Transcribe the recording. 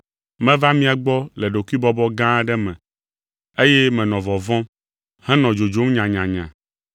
Meva mia gbɔ le ɖokuibɔbɔ gã aɖe me eye menɔ vɔvɔ̃m, henɔ dzodzom nyanyanya.